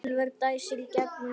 Úlfur dæsir í gegnum nefið.